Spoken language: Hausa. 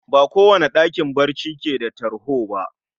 Ba kowane ɗakin bacci keda tarho bah